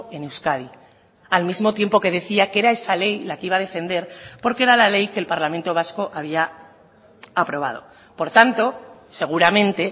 en euskadi al mismo tiempo que decía que era esa ley la que iba a defender porque era la ley que el parlamento vasco había aprobado por tanto seguramente